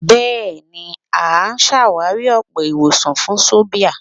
Bẹ́ẹ̀ ni, à á sàwárí ọ̀pọ̀ ìwọ̀sàn fún sòbìà.